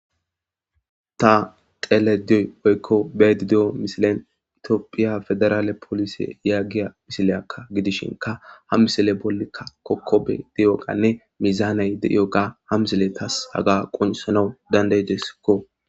Ta xele diyoy oykko beedi de'o misilen itiophiya federaale polise yaaggiya misileyakka gidishinka ha misile bollikka kokkobe deyoganne mizaanay de'io ga ha misile tas haga qunsanawu dandaydesikko.